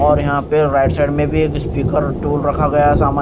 और यहां पे राइट साइड में भी एक स्पीकर टूल रखा गया सामा --